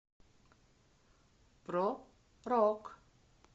про рок